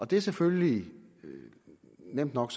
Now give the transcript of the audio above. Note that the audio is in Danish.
det er selvfølgelig nemt nok